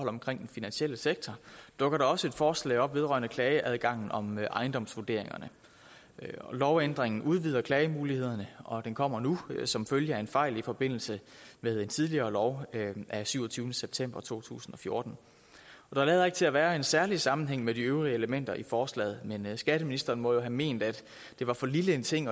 omkring den finansielle sektor dukker der også et forslag op vedrørende klageadgang om ejendomsvurderinger lovændringen udvider klagemulighederne og den kommer nu som følge af en fejl i forbindelse med en tidligere lov af syvogtyvende september to tusind og fjorten der lader ikke til at være en særlig sammenhæng med de øvrige elementer i forslaget men skatteministeren må jo have ment at det var for lille en ting